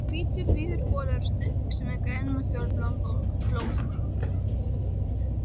Hvítur, víður bolur og stuttbuxur með grænum og fjólubláum blómum.